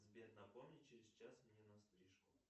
сбер напомни через час мне на стрижку